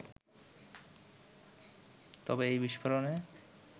তবে এই বিস্ফোরণে